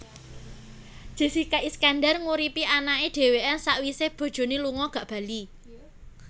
Jessica Iskandar nguripi anake dewean sakwise bojone lunga gak bali